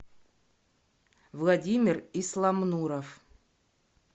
владимир исламнуров